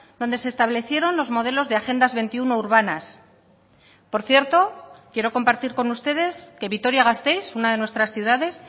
donde se establecieron los modelos de agendas veintiuno urbanas por cierto quiero compartir con ustedes que vitoria gasteiz una de nuestras ciudades